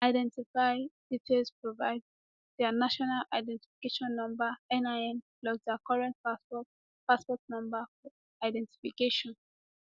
identify details provide dia national identification number nin plus dia current passport passport number for verification